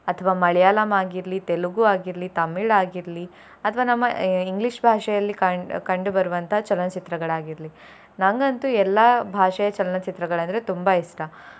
ಅಥವಾ Malayalam ಆಗಿರ್ಲಿ, Telugu ಆಗಿರ್ಲಿ, Tamil ಆಗಿರ್ಲಿ ಅಥವಾ ನಮ್ಮ English ಭಾಷೆಯಲ್ಲಿ ಕಂ~ ಕಂಡು ಬರುವಂತ ಚಲನಚಿತ್ರಗಳಾಗಿರ್ಲಿ ನಂಗಂತೂ ಎಲ್ಲಾ ಭಾಷೆಯ ಚಲಚಿತ್ರಗಳಂದ್ರೆ ತುಂಬಾ ಇಷ್ಟ.